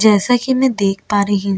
जैसा की मै देख पा रही हूँ--